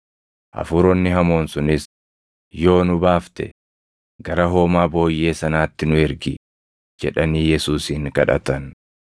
Hafuuronni hamoon sunis, “Yoo nu baafte, gara hoomaa booyyee sanaatti nu ergi” jedhanii Yesuusin kadhatan.